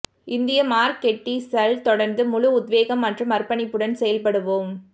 இந்திய மார்க்கெட்டிஸல் தொடர்ந்து முழு உத்வேகம் மற்றும் அர்ப்பணிப்புடன் செயல்படுவோம்